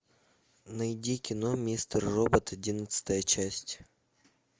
найди кино мистер робот одиннадцатая часть